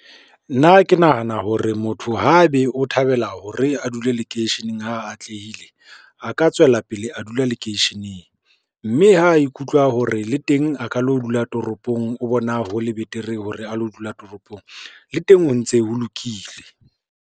Nna ke nahana hore motho haebe o thabela hore a dule lekeisheneng ha atlehile, a ka tswela pele a dula lekeisheneng, mme ha e ikutlwa hore le teng a ka lo dula toropong, o bona ho le betere hore a lo dula toropong le teng ho ntse ho lokile.